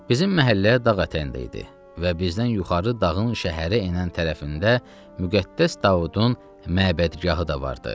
Bizim məhəllə dağ ətəyində idi və bizdən yuxarı dağın şəhərə enən tərəfində Müqəddəs Davudun məbədgahı da vardı.